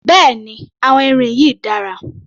Bẹ́ẹ̀ni àwọn irin yìí dára